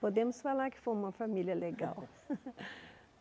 Podemos falar que fomos uma família legal.